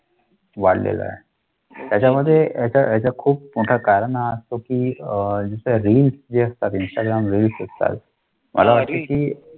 वाढला आहे. त्याचामध्ये त्याचा त्याचा खूप मोठा कारण हे आस्तो कि अह रील्स जे आस्तत इंस्टाग्राम रील्स आस्तत